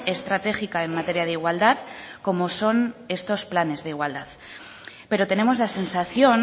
estratégica en materia de igualdad como son estos planes de igualdad pero tenemos la sensación